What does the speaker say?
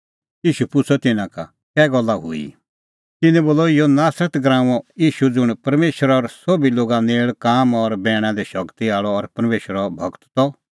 ईशू पुछ़अ तिन्नां का कै गल्ला हुई तिन्नैं बोलअ इहअ नासरत नगरीओ ईशू ज़ुंण परमेशर और सोभी लोगा नेल़ काम और बैणा दी शगती आल़अ और परमेशरो गूर त